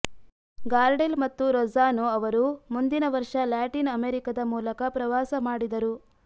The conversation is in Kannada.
ಗಾರ್ಡೆಲ್ ಮತ್ತು ರೊಜ್ಜಾನೊ ಅವರು ಮುಂದಿನ ವರ್ಷ ಲ್ಯಾಟಿನ್ ಅಮೆರಿಕದ ಮೂಲಕ ಪ್ರವಾಸ ಮಾಡಿದರು